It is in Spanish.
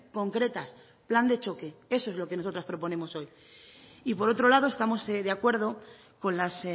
concretas plan de choque eso es lo que nosotras proponemos hoy y por otro lado estamos de acuerdo con las